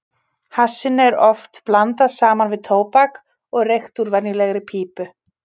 Hassinu er oft blandað saman við tóbak og reykt úr venjulegri pípu.